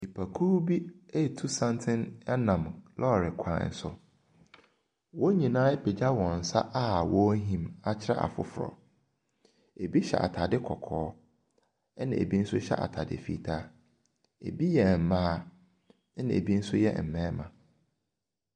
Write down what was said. Nnipakuo bi ɔretu santene nam lɔɔre kwan so. Wɔn nyinaa apagya wɔ n nsa a wɔrehim akyerɛ afoforɔ. Ɛbi hyɛ ataade kɔkɔɔ na ɛbi nso hyɛ ataade fitaa. Bi yɛ mmarima na bi nso yɛ mmaa.